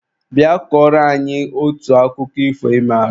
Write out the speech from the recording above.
Bịa kọrọ anyị otu akụkọ ifo ị maara!